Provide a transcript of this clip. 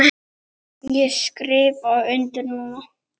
Ég skrifa undir núna.